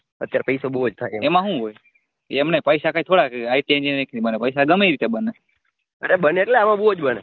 અરે બને અટલે આમાં બવ જ બને